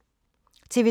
TV 2